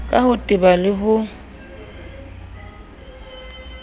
ka ho teba le ho